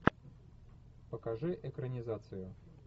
покажи экранизацию